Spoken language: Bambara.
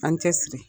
An cɛ siri